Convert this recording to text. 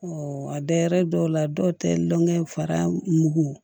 a da yɛrɛ dɔw la dɔw tɛ lɔnkɛ fara mugu